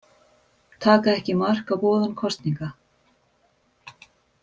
Taka ekki mark á boðun kosninga